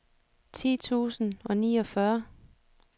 ti tusind og niogfyrre